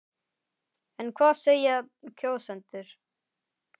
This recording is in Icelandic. En hvað segja kjósendur?